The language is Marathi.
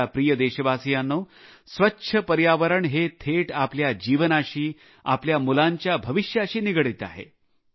माझ्या प्रिय देशवासियांनो स्वच्छ पर्यावरण हे थेट आपल्या जीवनाशी आपल्या मुलांच्या भविष्याशी निगडीत आहे